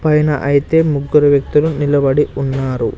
పైన ఐతే ముగ్గురు వ్యక్తులు నిలబడి ఉన్నారు.